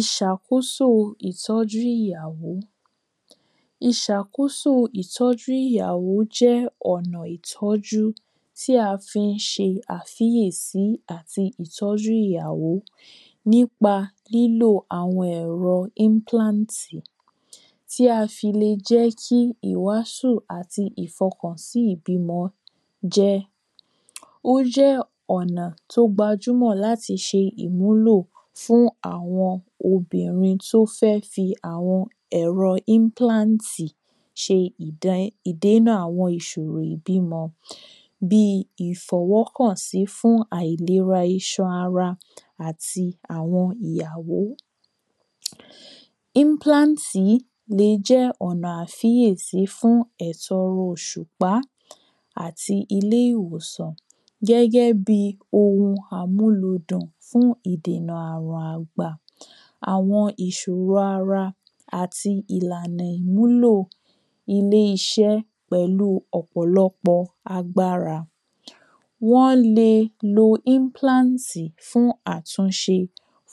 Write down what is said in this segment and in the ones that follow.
ìṣàkóso ìtọ́jú ìyàwó ìṣàkóso ìtọ́jú ìyàwó jẹ́ ọ̀nà ìtọ́jú tí a fi ń ṣe àfíyèsí àti ìtọ́jú ìyàwó nípa lílò àwọn ẹ̀rọ ínplántì tí a fi le jẹ́ kí ìwásù àti ìfọkàn sí ìbímọ jẹ ó jẹ́ ọ̀nà tó gbajúmọ̀ láti ṣe ìmúlò fún àwọn obìnrin tó fẹ́ fi àwọn ẹ̀rọ ínplántì ṣe ìdè ìdénà àwọn ìsòro ìbímọ bíi ìfọwọ́kàn fún àìlera iṣa ara àti àwọn ìyàwó. ínplántì yìí le jẹ́ ọ̀nà àfíyèsí fún ẹ̀tọrọ oṣùpá àti ilé- ìwòsàn gẹ́gẹ́bíi ohun amúlúdùn fún ìdènà àrùn àgbà àwọn ìsòro ara àti ìlànà ìmúlò ilé-iṣẹ́ pẹ̀lú ọ̀pọ̀lọ́pọ̀ agbára wọ́n le lo ínplántì fún àtúnṣe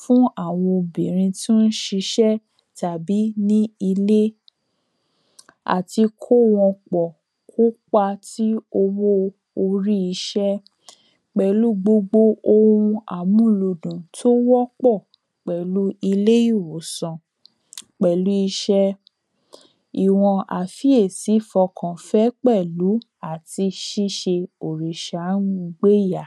fún àwọn obìnrin tó ń ṣisẹ́ tàbí ní ilé àti kó wọn pọ̀ kó pa tí owó orí iṣẹ́ pẹ̀lúu gbogbo ohun amúlúdùn tó wọ́ pọ̀ pẹ̀lú ilé-ìwòsàn pẹ̀lúu iṣẹ́, ìwọn àfíyèsí fọkàn fẹ́ pẹ̀lú àti ṣíṣe sáánu gbéyà